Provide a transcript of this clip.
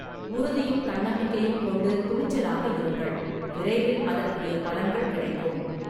உறுதியும் தன்னம்பிக்கையும் கொண்டு துணிச்சலாக இருங்கள், விரைவில் அதற்குரிய பலன்கள் கிடைக்கும்.